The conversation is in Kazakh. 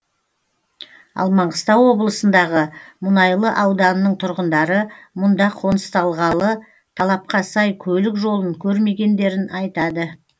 ал маңғыстау облысындағы мұнайлы ауданының тұрғындары мұнда қоныстанғалы талапқа сай көлік жолын көрмегендерін айтады